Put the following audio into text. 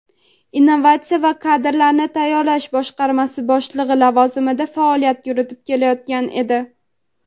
innovatsiya va kadrlarni tayyorlash boshqarmasi boshlig‘i lavozimida faoliyat yuritib kelayotgan edi.